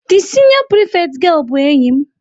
The senior prefect girl bụ enyi m.